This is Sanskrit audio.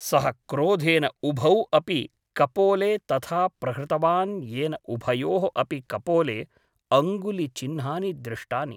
सः क्रोधेन उभौ अपि कपोले तथा प्रहृतवान् येन उभयोः अपि कपोले अङ्गुलिचिह्नानि दृष्टानि ।